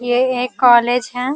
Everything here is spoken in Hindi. ये एक कॉलेज है।